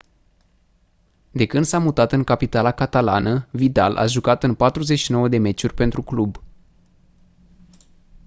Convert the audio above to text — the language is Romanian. de când s-a mutat în capitala catalană vidal a jucat în 49 de meciuri pentru club